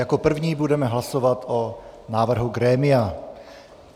Jako první budeme hlasovat o návrhu grémia.